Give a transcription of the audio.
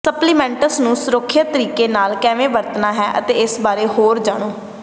supplements ਨੂੰ ਸੁਰੱਖਿਅਤ ਤਰੀਕੇ ਨਾਲ ਕਿਵੇਂ ਵਰਤਣਾ ਹੈ ਇਸ ਬਾਰੇ ਹੋਰ ਜਾਣੋ